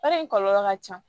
Baara in kɔlɔlɔ ka ca